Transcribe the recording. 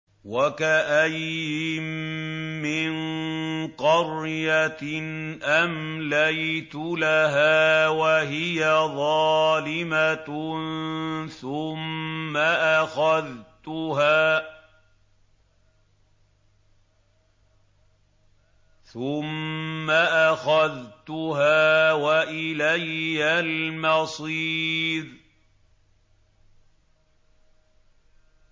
وَكَأَيِّن مِّن قَرْيَةٍ أَمْلَيْتُ لَهَا وَهِيَ ظَالِمَةٌ ثُمَّ أَخَذْتُهَا وَإِلَيَّ الْمَصِيرُ